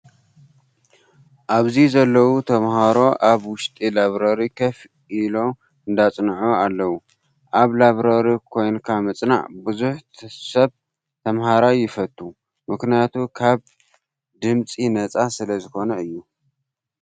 ኣብዚ ዘለው ተማሃሮ ኣብ ውሽጢ ላብረሪ ኮፍ ኢሎ እንዳፅንዑ ኣለው። ኣብ ላብረሪ ኮንካ ምፅናዕ ብዙሕ ሰብ ተማሃራይ የፈቱ። ምክንያቱ ካብ ፅምፂ ነፃ ስለዝኮነ እዩ።